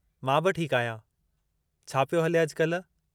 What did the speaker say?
मां बि ठीकु आहियां। छा पियो हले अॼकाल्ह?